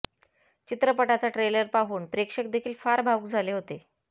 चित्रपटाचा ट्रेलर पाहून प्रेक्षक देखील फार भावूक झाले होते